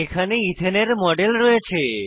এখানে ইথেনের মডেল রয়েছে